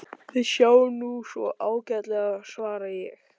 Við sjáum nú svo ágætlega, svara ég.